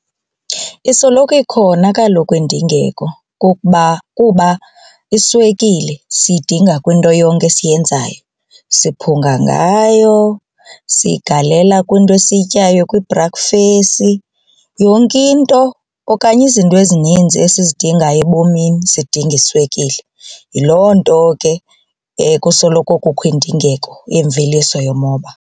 Isoloko ikhona kaloku indingeko kuba iswekile siyidinga kwinto yonke esiyenzayo. Siphunga ngayo siyigalela kwinto esiyityayo kwibhrakfesi yonke into okanye izinto ezininzi esizidingayo ebomini zidinga iswekile yiloo nto ke kusoloko kukho indingeko yemveliso yomoba.